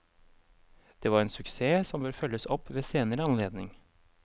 Det var en suksess som bør følges opp ved senere anledning.